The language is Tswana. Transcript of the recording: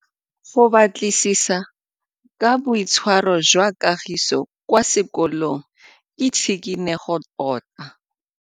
Go batlisisa ka boitshwaro jwa Kagiso kwa sekolong ke tshikinyêgô tota.